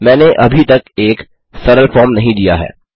मैंने अभी तक एक सफल फॉर्म नहीं दिया है